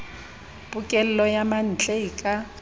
pokello ya mantle e ka